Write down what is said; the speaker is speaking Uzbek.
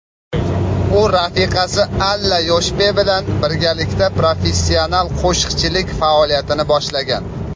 u rafiqasi Alla Yoshpe bilan birgalikda professional qo‘shiqchilik faoliyatini boshlagan.